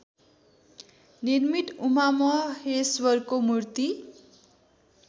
निर्मित उमामहेश्वरको मूर्ति